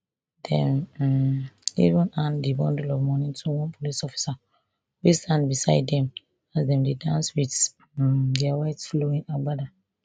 dem um even hand di bundle of money to one police officer wey stand beside dem as dem dey dance wit um dia white flowing agbada